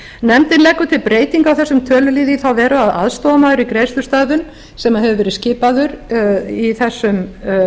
nefndin leggur til breytingu á þessum tölulið í þá veru að aðstoðarmaður í greiðslustöðvun sem hefur verið skipaður í þessum